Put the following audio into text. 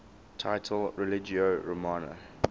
title religio romana